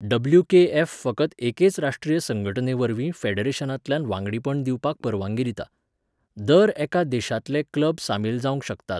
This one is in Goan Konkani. डब्ल्यू के एफ फकत एकेच राष्ट्रीय संघटनेवरवींफेडरेशनांतल्यान वांगडीपण दिवपाक परवानगी दिता. दर एका देशांतले क्लब सामील जावंक शकतात.